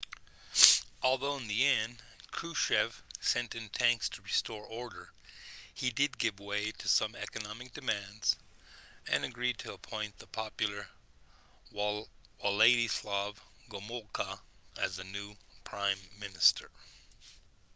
although in the end krushchev sent in tanks to restore order he did give way to some economic demands and agreed to appoint the popular wladyslaw gomulka as the new prime minister